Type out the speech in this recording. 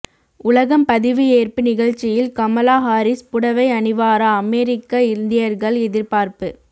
உலகம் பதவியேற்பு நிகழ்ச்சியில் கமலா ஹாரிஸ் புடவை அணிவாரா அமெரிக்க இந்தியர்கள் எதிர்பார்ப்பு